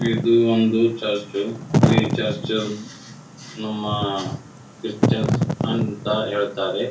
ಇದು ಒಂದು ಚರ್ಚು ಈ ಚರ್ಚು ನಮ್ಮ ಕ್ರಿಶ್ಚನ್ಸ್ ಅಂತ ಹೇಳತ್ತರೆ.